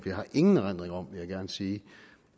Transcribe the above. jeg har ingen erindring om vil jeg gerne sige